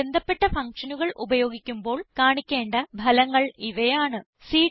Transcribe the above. നമ്മൾ ബന്ധപ്പെട്ട ഫങ്ഷനുകൾ ഉപയോഗിക്കുമ്പോൾ കാണിക്കേണ്ട ഫലങ്ങൾ ഇവയാണ്